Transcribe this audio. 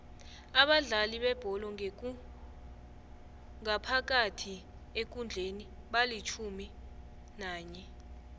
abadlali bebholo ngaphakathi ekundleni balitjhumi nanye